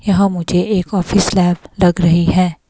यहां मुझे एक ऑफिस लैब लग रही है।